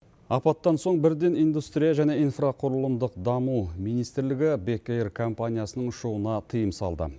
апаттан соң бірден индустрия және инфрақұрылымдық даму министрлігі бек эйр компаниясының ұшуына тыйым салды